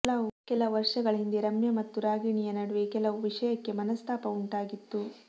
ಕೆಲ ವರ್ಷಗಳ ಹಿಂದೆ ರಮ್ಯಾ ಮತ್ತು ರಾಗಿಣಿ ಯ ನಡುವೆ ಕೆಲವು ವಿಷಯಕ್ಕೆ ಮನಸ್ತಾಪ ಉಂಟಾಗಿತ್ತು